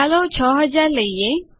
ચાલો 6000 લઈએ